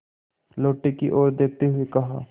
लोटे की ओर देखते हुए कहा